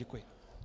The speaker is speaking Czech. Děkuji.